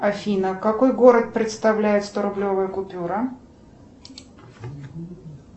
афина какой город представляет сторублевая купюра